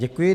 Děkuji.